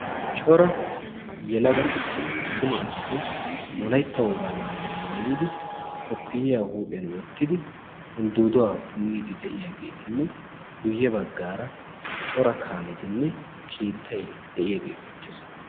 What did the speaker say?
Cora yelaga attuma asati wolaytta wogaa maayuwa maayidi koppiyyiya huuphiyan wottidi uldduuduwa punniiddi de'iyageetinne guyye baggaara cora kaametinne keettayi de'iyagee beettes.